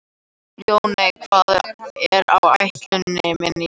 Ljóney, hvað er á áætluninni minni í dag?